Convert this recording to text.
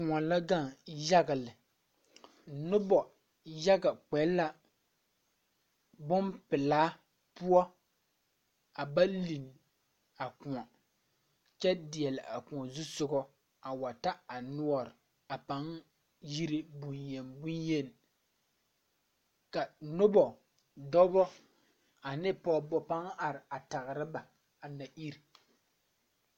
Kõɔ la gaŋ yaga lɛ nobɔ yaga kpɛ la bonpelaa poɔ a ba linne a kõɔ kyɛ deɛle a kõɔ zusugɔ a wa ta a noɔre a paŋ yire bonyen bonyeni ka nobɔ dɔbɔ ane pɔɔbɔ paŋ are a tagra ba na ire.